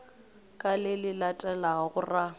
ka le le latelago ra